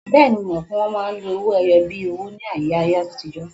Bẹ́ẹ̀ni, mo mọ̀ pé wọ́n máa ń lo owó-ẹyọ bíi owó ní ayé àtijọ́.